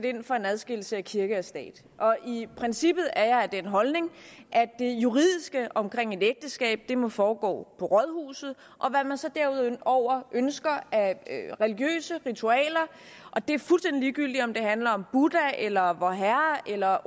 ind for en adskillelse af kirke og stat og i princippet er jeg af den holdning at det juridiske omkring et ægteskab må foregå på rådhuset og hvad man så derudover ønsker af religiøse ritualer og det er fuldstændig ligegyldigt om det handler om buddha eller vorherre eller